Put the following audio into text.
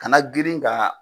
Kana grin ka.